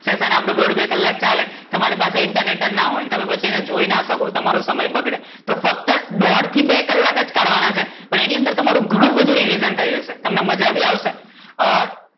session આપડું દોઢ બે કલાક ચાલે, તમારા પાસે internet જ ના હોય, તમે પછી એને જોઈ ના શકો, તમારો સમય બગડે, તો ફક્ત દોઢ થી બે કલાક જ કાઢવાના છે. પણ અને અંદર તમારું ઘણું બધું rivison થઇ જશે, તમને મજા બી આવશે.